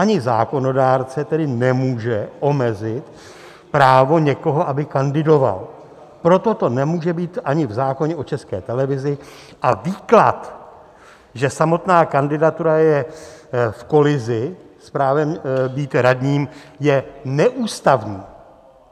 Ani zákonodárce tedy nemůže omezit právo někoho, aby kandidoval, proto to nemůže být ani v zákoně o České televizi, a výklad, že samotná kandidatura je v kolizi s právem být radním, je neústavní.